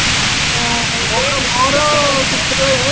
ନା ଆଉ ରେଟ